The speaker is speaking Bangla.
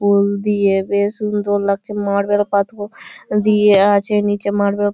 ফুল দিয়ে বেশ সুন্দর লাগছে। মার্বেল পাথর দিয়ে আছে নীচে মার্বেল --